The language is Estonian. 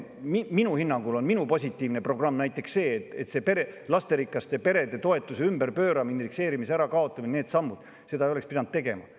Minu hinnangul, minu positiivne programm on näiteks see, et lasterikaste perede toetuse ümberpööramist, indekseerimise ärakaotamist ja teisi selliseid samme ei oleks pidanud tegema.